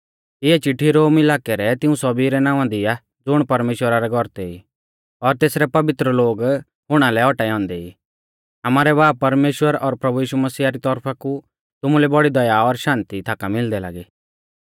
इऐ चिट्ठी रोम इलाकै रै तिऊं सौभी रै नावां दी आ ज़ुण परमेश्‍वरा रै गौरतै ई और तेसरै पवित्र लोग हुणा लै औटाऐ औन्दै ई आमारै बाब परमेश्‍वर और प्रभु यीशु मसीह री तौरफा कु तुमुलै बौड़ी दया और शान्ति थाका मिलदै लागी